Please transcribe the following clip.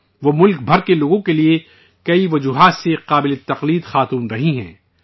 وہ ملک بھر کے لوگوں کے لیے کئی وجہوں سے حوصلے کا باعث رہی ہیں